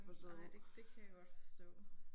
Nej det det kan jeg godt forstå